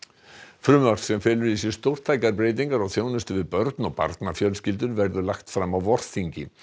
frumvarp sem felur í sér stórtækar breytingar á þjónustu við börn og barnafjölskyldur verður lagt fram á vorþingi